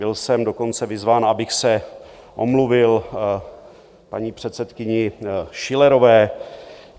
Byl jsem dokonce vyzván, abych se omluvil paní předsedkyni Schillerové.